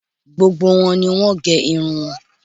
Gbogbo wọn ni wọ́n gẹ irun wọn